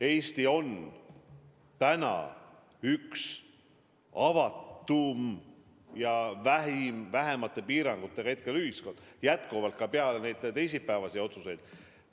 Eesti on praegu üks kõige avatumaid ja vähemate piirangutega ühiskondi ka peale neid teisipäevaseid otsuseid.